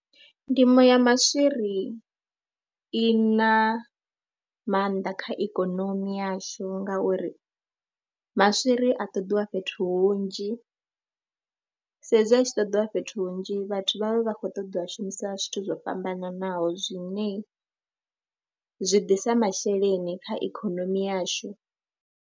Ndimo ya maswiri i na maanḓa kha ikonomi yashu ngauri maswiri a ṱoḓiwa fhethu hunzhi sa ezwi a tshi ṱoḓiwa fhethu hunzhi vhathu vha vha vha khou ṱoḓa u a shumisa zwithu zwo fhambananaho zwine zwi ḓisa masheleni kha ikhonomi yashu.